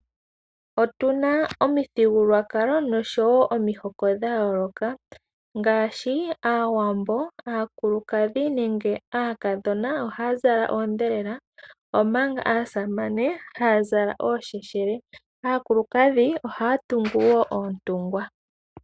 Otuna omithigululwakalo noshowo omihoko dhayooloka ngaashi aawambo Aakulukadhi nenge aakadhona ohaya zala oondhelela, omanga aasamane haa zala oosheshele, aakulukadhi ohaya tungu wo oontungwa.